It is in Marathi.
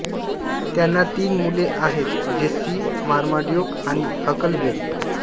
त्यांना तीन मुले आहेत जेस्सी मर्माड्यूक आणि हकलबेरी